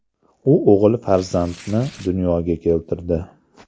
U o‘g‘il farzandni dunyoga keltirdi.